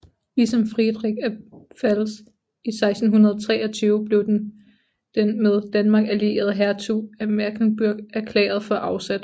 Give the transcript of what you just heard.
Ligesom Friedrich af Pfalz i 1623 blev den med Danmark allierede Hertug af Mecklenburg erklæret for afsat